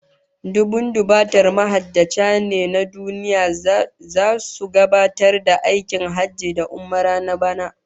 Dubun dubatar mahajjata ne na duniya zasu gabatar da aikin hajji da umara na bana